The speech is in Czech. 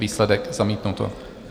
Výsledek: zamítnuto.